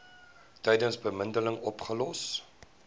tydens bemiddeling opgelos